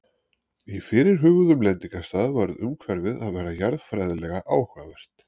Á fyrirhuguðum lendingarstað varð umhverfið að vera jarðfræðilega áhugavert.